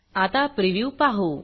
आता प्रिव्ह्यू पाहू